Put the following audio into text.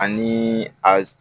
Ani a